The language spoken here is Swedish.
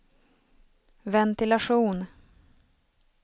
ventilation